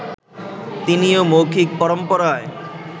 তিনিও মৌখিক পরম্পরায়